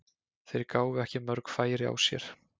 Þeir gáfu ekki mörg færi á sér.